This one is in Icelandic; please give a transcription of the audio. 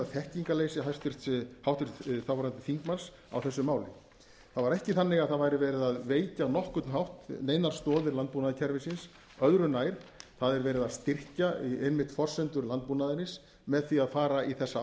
þekkingarleysi háttvirtur þáverandi þingmanns á þessu máli það var ekki þannig að það væri verið að veikja á nokkurn hátt neinar stoðir landbúnaðarkerfisins öðru nær það er verið að styrkja einmitt forsendur landbúnaðarins með því að fara í þessa